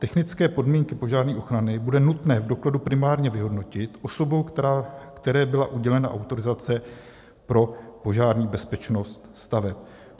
Technické podmínky požární ochrany bude nutné v dokladu primárně vyhodnotit osobou, které byla udělena autorizace pro požární bezpečnost staveb.